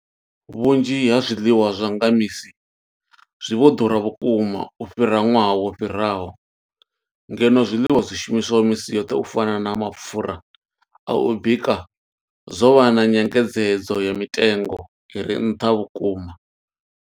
Vhunzhi ha zwiḽiwa zwa nga misi zwi vho ḓura vhukuma u fhira ṅwaha wo fhiraho, ngeno zwiḽiwa zwi shumiswaho misi yoṱhe u fana na mapfhura a u bika zwo vha na nyengedzedzo ya mitengo i re nṱha vhukuma.